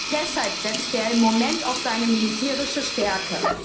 Auch deshalb setzt er im Moment auf seine militärische Stärke.